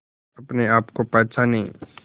अपने आप को पहचाने